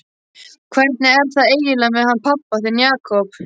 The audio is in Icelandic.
Hvernig er það eiginlega með hann pabba þinn, Jakob?